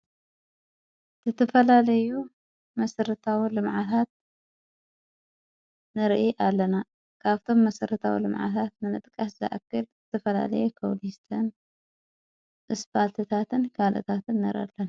ዝተፈላለዩ መሥርታው ልምዓታት ንርኢ ኣለና ካብቶም መሠርታዊ ልምዓታት ንነጥቃስ ዘኣክል እትፈላለየ ክሊስትን እስጳልትታትፓ ካልእታትን ነረኢ ኣለና።